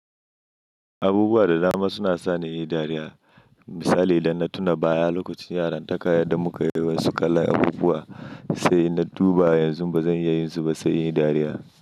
Abubuwa da dama suna sa ni in yi dariya. Misali idan na tuna baya lokacin yaran taka yadda muka yi wasu kala abubuwa, sai na duba yanzu ba zan iya yin su ba sai in yi dariya.